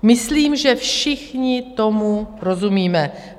Myslím, že všichni tomu rozumíme.